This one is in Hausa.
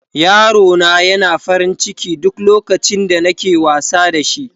yaro na yana farin ciki duk lokacin da nake wasa da shi.